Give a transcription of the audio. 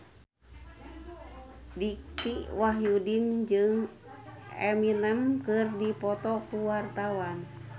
Dicky Wahyudi jeung Eminem keur dipoto ku wartawan